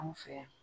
Anw fɛ yan